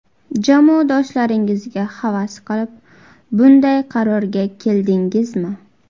Jamoadoshlaringizga havas qilib bunday qarorga keldingizmi?